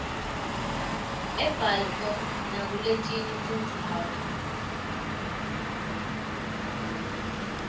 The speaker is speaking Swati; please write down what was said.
ebalfour nakuletinye tindzawo